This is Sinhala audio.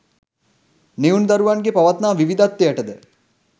නිවුන් දරුවන්ගේ පවත්නා විවිධත්වයට ද